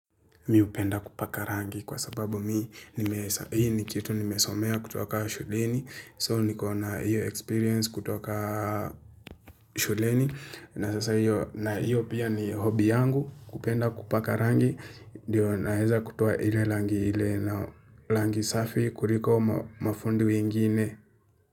Miupenda kupaka rangi kwa sababu mii, hii ni kitu nimesomea kutoka shuleni, so niko na iyo experience kutoka shuleni, na sasa iyo, na iyo pia ni hobi yangu kupenda kupaka rangi, diyo naeza kutoa ile langi ile na langi safi kuliko mafundi wengine.